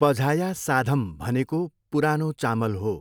पझाया साधम भनेको पुरानो चामल हो।